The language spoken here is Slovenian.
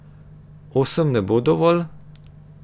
Osem ne bo dovolj?